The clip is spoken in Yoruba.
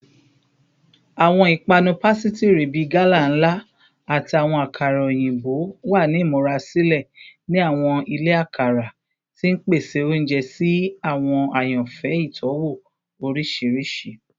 Awọn ipanu pasitiri bii gala nla ati awọn akara oyinbo wa ni imurasilẹ ni awọn ile akara, ti n pese ounjẹ si awọn ayanfẹ itọwo oriṣiriṣi.